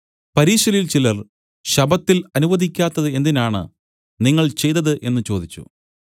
പരീശരിൽ ചിലർ ശബ്ബത്തിൽ അനുവദിക്കാത്തത് എന്തിനാണ് നിങ്ങൾ ചെയ്തത് എന്നു ചോദിച്ചു